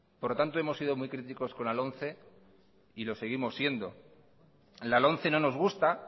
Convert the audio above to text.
por lo tanto hemos sido muy críticos con la lomce y lo seguimos siendo en la lomce no nos gusta